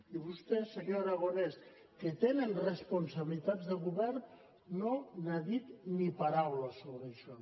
i vostès senyor aragonès que tenen responsabilitats de govern no n’ha dit ni paraula sobre això